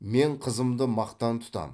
мен қызымды мақтан тұтамын